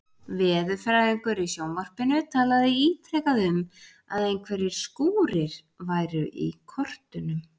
Veðurfræðingur í sjónvarpinu talaði ítrekað um að einhverjir skúrir væru í kortunum.